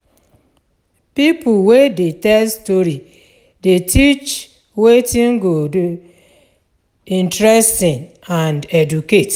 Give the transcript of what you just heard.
Pipo wey dey tell story dey teach wetin go dey interesting and educate.